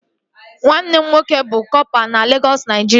Nwanne m nwoke bụ kọpa na Legọs, Naijiria